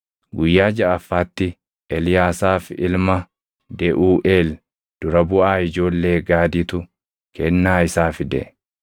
Guyyaa jaʼaffaatti Eliyaasaaf ilma Deʼuuʼeel dura buʼaa ijoollee Gaaditu kennaa isaa fide.